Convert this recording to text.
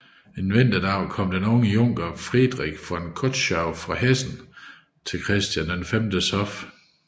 En vinterdag kommer den unge junker Friedrich von Kötschau fra Hessen til Christian Vs hof